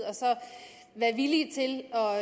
og